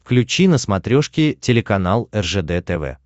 включи на смотрешке телеканал ржд тв